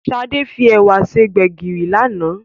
Sade fi èwà ṣe Gbégiri lánàá